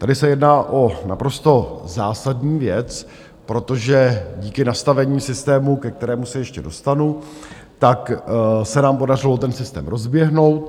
Tady se jedná o naprosto zásadní věc, protože díky nastavení systému, ke kterému se ještě dostanu, tak se nám podařilo ten systém rozběhnout.